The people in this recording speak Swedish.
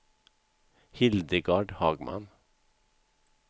Hildegard Hagman